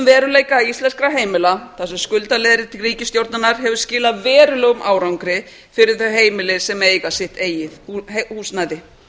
veruleika íslenskra heimila þar sem skuldaleiðrétting ríkisstjórnarinnar hefur skilað verulegum árangri fyrir þau heimili sem eiga sitt eigið húsnæði